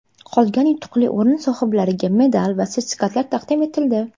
Qolgan yutuqli o‘rin sohiblariga medal va sertifikatlar taqdim etildi.